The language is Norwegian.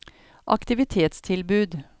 aktivitetstilbud